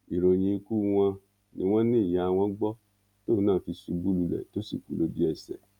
ìròyìn ikú wọn ni wọn ní ìyá wọn gbọ tóun náà fi ṣubú lulẹ tó sì kú lójú ẹsẹ